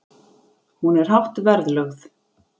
Hún er hátt verðlögð.